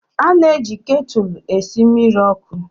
A na-eji ktụlụ esi mmiri ọkụ